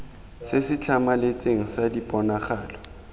se se tlhamaletseng sa diponagalo